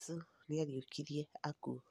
Jesũ nĩariũkirie akuũ